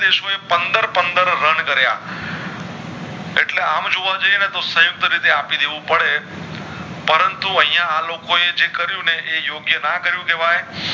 દેશો એ પંદર પંદર run કરિયા એટલે આમ જોવા જાયે ને તો સંયુક્ત રેતે આપી દેવું પડે પરંતુ અયાઆલોકો એ જે કરિયું ને એ યોગ્ય ના કરિયું કેવાય